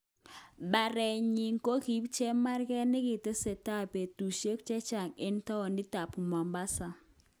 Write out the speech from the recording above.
Baret nyin kokiib chemarget nekitestai betushek chechang eng townit ab Mombasa.